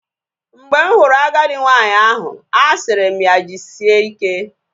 Mgbe m hụrụ agadi nwanyị ahụ, asịrị m ya jisike